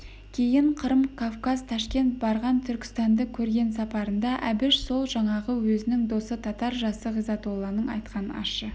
кейін қырым кавказ ташкент барған түркістанды көрген сапарында әбіш сол жаңағы өзінің досы татар жасы ғизатолланың айтқан ащы